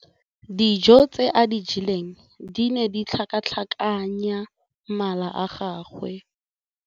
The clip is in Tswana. Dijô tse a di jeleng di ne di tlhakatlhakanya mala a gagwe.